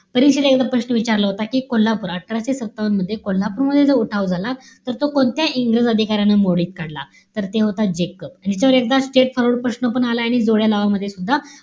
परीक्षेला एकदा प्रश्न विचारला होता कि, कोल्हापूर, अठराशे सत्तावन्न मध्ये कोल्हापूर मध्ये, जो उठाव झाला. तर तो कोणत्या इंग्रज अधिकाऱ्याने मोडीत काढला? तर ते होता जेकब. याच्यावर एकदा straight forward प्रश्न पण आलाय आणि जोडया लावा मध्ये सुद्धा,